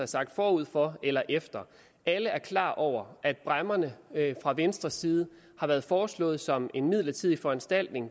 sagt forud for eller efter alle er klar over at bræmmerne fra venstres side har været foreslået som en midlertidig foranstaltning